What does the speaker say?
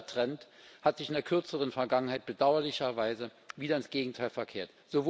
Dieser Trend hat sich in der kürzeren Vergangenheit bedauerlicherweise wieder ins Gegenteil verkehrt.